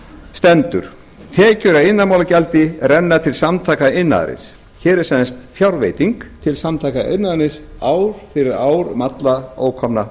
stendur tekjur af iðnaðarmálagjaldi renna til samtaka iðnaðarins hér er sem sagt fjárveiting til samtaka iðnaðarins ár fyrir ár um alla ókomna